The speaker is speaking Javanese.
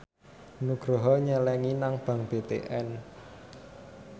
Nugroho nyelengi nang bank BTN